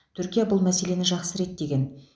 түркия бұл мәселені жақсы реттеген